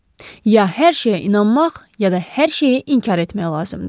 Ya hər şeyə inanmaq, ya da hər şeyi inkar etmək lazımdır.